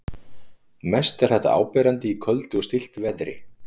mest er þetta áberandi í köldu og stilltu veðri